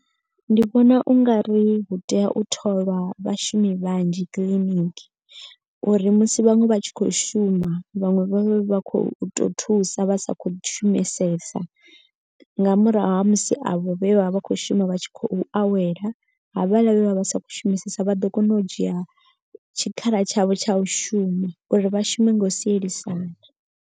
Ndi vhona u nga ri hu tea u tholwa vhashumi vhanzhi kiḽiniki. Uri musi vhaṅwe vha tshi khou shuma vhaṅwe vha vha khou to thusa vha sa khou shumisesa. Nga murahu ha musi avho vhe vha vha vha khou shuma vha tshi khou awela. Havhaḽa vhe vha vha sa khou shumisesa vha ḓo kona u dzhia tshikhala tshavho tsha u shuma uri vha shume nga u sielisana.